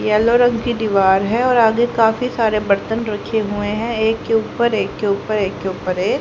Yellow रंग की दीवार है और आगे काफी सारे बर्तन रखे हुए हैं एक के ऊपर एक के ऊपर एक के ऊपर एक।